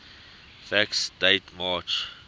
facts date march